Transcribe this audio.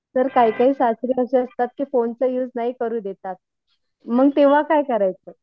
Sir काही काही सासरे असतात ते फोनचा युज नाही करू देतात. मग तेंव्हा काय करायचं?